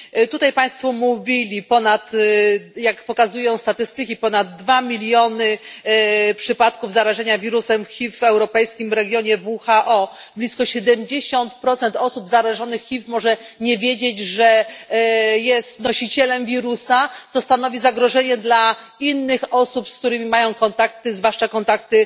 Tutaj państwo mówili jak pokazują statystyki, ponad 2 miliony przypadków zarażenia wirusem HIV w europejskim regionie WHO, blisko 70 osób zarażonych HIV może nie wiedzieć, że jest nosicielem wirusa, co stanowi zagrożenie dla innych osób, z którymi mają kontakty, zwłaszcza kontakty